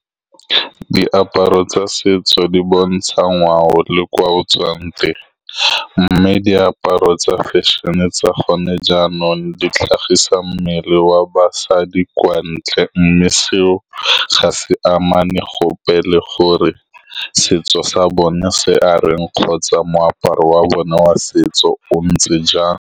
Diaparo tsa setso di bontsha ngwao le kwa o tswang teng, mme diaparo tsa fashion-e tsa gone jaanong di tlhagisa mmele wa basadi kwa ntle, mme seo ga se amane gope le gore setso sa bone se areng kgotsa moaparo wa bone wa setso o ntse jang.